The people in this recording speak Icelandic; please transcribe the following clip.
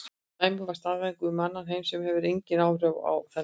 Dæmi væru staðhæfingar um annan heim sem hefur engin áhrif á þennan.